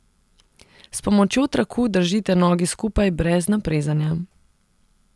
S pomočjo traku držite nogi skupaj brez naprezanja.